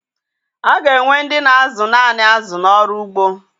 A ga-enwe ndị na-azụ naanị azụ n'ọrụ ugbo.